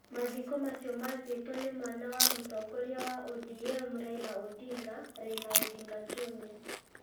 Mathiko macio mathietwo nĩ mwana wa mũtongoria wa ODM Raila Odinga, Raila Odinga Junior.